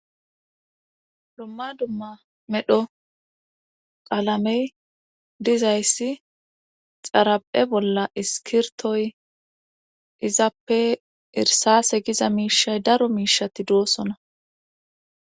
dumma dumma medho qaalamey dizayssi xara7e bolla iskirtoy izappe irsase giza miishay daro miishati doossona